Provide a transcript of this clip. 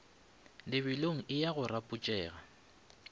lebelong e ya go rapotšega